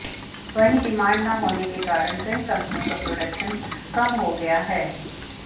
वहीं डिमांड ना होने के कारण कई कंपनियों का प्रोडक्शन कम हो गया है